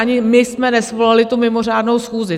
Ani my jsme nesvolali tu mimořádnou schůzi.